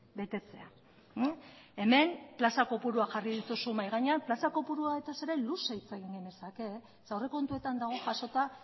betetzea hemen plaza kopuruak jarri dituzu mahai gainean plaza kopuruetaz ere luze hitz egin genezake zeren aurrekontuetan dago jasota